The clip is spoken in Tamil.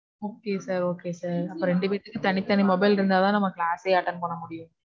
Okay sir okay sir, அப்போ ரெண்டு பேர்த்துக்கும் தனி தனி mobile இருந்தா தான் நாம class சே attend பண்ண முடியும்